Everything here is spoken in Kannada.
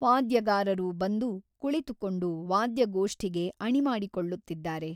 ವಾದ್ಯಗಾರರು ಬಂದು ಕುಳಿತುಕೊಂಡು ವಾದ್ಯಗೋಷ್ಠಿಗೆ ಅಣಿಮಾಡಿಕೊಳ್ಳುತ್ತಿದ್ದಾರೆ.